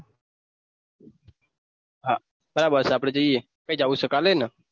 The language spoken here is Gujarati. હાં બસ આપડે જાયે કાલે ને